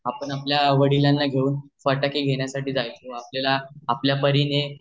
आपण आपल्या वडिलांना घेऊन फटाके घेण्यासाठी जयचो आपल्याला आपल्या परीने